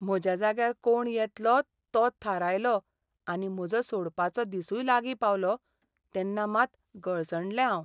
म्हज्या जाग्यार कोण येतलो तो थारायलो आनी म्हजो सोडपाचो दिसूय लागीं पावलो तेन्ना मात गळसणलें हांव.